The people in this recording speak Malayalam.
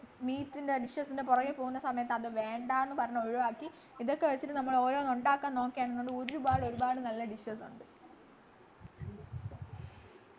meat ൻ്റെ dishes ൻ്റെ പിറകെ പോകുന്ന സമയത്തു അത് വേണ്ട ന്നു പറഞ്ഞു ഒഴിവാക്കി ഇതൊക്കെ കഴിച്ചിട്ട് നമ്മളോരോന്നുണ്ടാക്കാൻ നോക്ക് ആണെന്നുണ്ടെങ്കി ഒരുപാടൊരുപാട് നല്ല dishes ഉണ്ട്